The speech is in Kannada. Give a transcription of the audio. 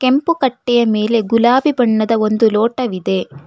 ಕೆಂಪು ಕಟ್ಟೆಯ ಮೇಲೆ ಗುಲಾಬಿ ಬಣ್ಣದ ಒಂದು ಲೋಟವಿದೆ.